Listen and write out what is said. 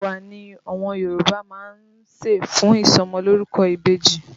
Ẹ̀wà ni àwọn Yòrùbá máa ń ṣẹ̀ fún ìsọmọlórúkọ ìbejì